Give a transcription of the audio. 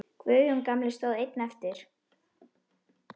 Guðjón gamli stóð einn eftir.